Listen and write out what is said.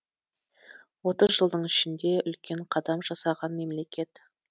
отыз жылдың ішінде үлкен қадам жасаған мемлекет